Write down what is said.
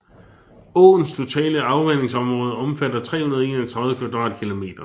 Åens totale afvandingsområde omfatter 331 kvadratkilometer